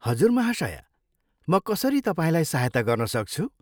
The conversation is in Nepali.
हजुर महाशया, म कसरी तपाईँलाई सहायता गर्न सक्छु?